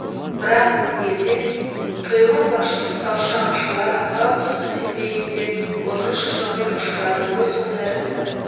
бірақ біздің елде тұйғын лашын ұстаушы аңшылар асау құсқа сенбегенде ұзын шыжыммен ұшырады ғой сол тәрізді